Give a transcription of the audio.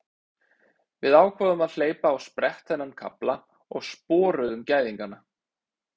Við ákváðum að hleypa á sprett þennan kafla og sporuðum gæðingana.